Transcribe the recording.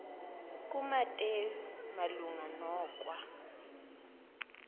kumateyu malunga nokwa